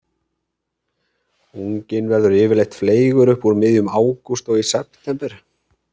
Unginn verður yfirleitt fleygur upp úr miðjum ágúst og í september.